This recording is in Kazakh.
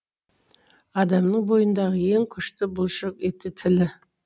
адамның бойындағы ең күшті бұлшық еті тілі